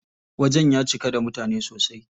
Wajen ya cika da mutane sosai.